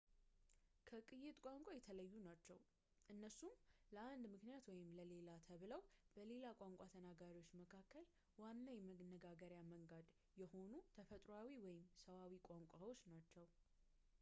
ከቅይጥ ቋንቋ የተለዩ ናችው፣ እነሱም ለአንድ ምክንያት ወይም ለሌላ ተብለው በሌላ ቋንቋ ተናጋሪዎች መካከል ዋና የመነጋገርያ መንገድ የሆኑ ተፈጥሮአዊ ወይም ሰዋዊ ቋንቋዎች ናቸው